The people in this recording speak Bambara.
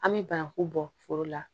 An bɛ bananku bɔ foro la